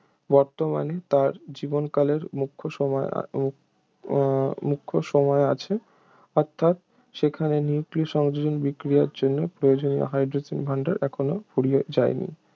বর্তমানে তার জীবনকালের মুখ্য সময় উহ মুখ্য সময়ে আছে অর্থাৎ সেখানে নিউক্লীয় সংযোজন বিক্রিয়ার জন্য প্রয়োজনীয় হাইড্রোজেনের ভাণ্ডার এখনও ফুরিয়ে যায়নি